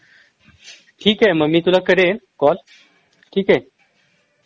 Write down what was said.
ठीक आहे मग मी तुला करेन कॉल ठीक आहे